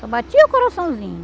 Só batia o coraçãozinho.